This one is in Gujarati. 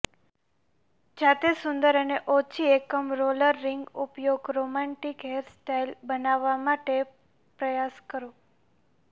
જાતે સુંદર અને ઓછી એકમ રોલર રિંગ ઉપયોગ રોમેન્ટિક હેરસ્ટાઇલ બનાવવા માટે પ્રયાસ કરો